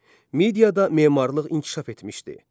Mediada memarlıq inkişaf etmişdi.